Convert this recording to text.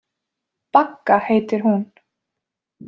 Bagga heitir hún.